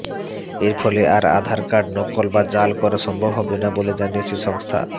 এর ফলে আর আধার কার্ড নকল বা জাল করা সম্ভব হবেনা বলে জানিয়েছে সংস্থা